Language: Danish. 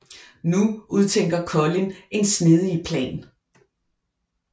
Nu udtænker Collin en snedig plan